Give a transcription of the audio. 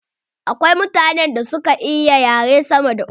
Akwai mutanen da suka iya yare sama da uku.